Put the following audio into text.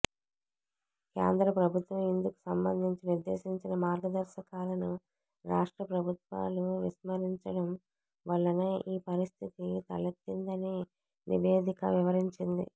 కేంద్ర ప్రభుత్వం ఇందుకు సంబంధించి నిర్దేశించిన మార్గదర్శకాలను రాష్ట్ర ప్రభుత్వాలు విస్మరించడం వల్లనే ఈ పరిస్థితి తలెత్తిందని నివేదిక వివరించింది